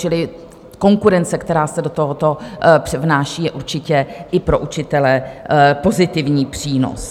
Čili konkurence, která se do tohoto vnáší, je určitě i pro učitele pozitivním přínosem.